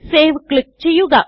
save click ചെയ്യുക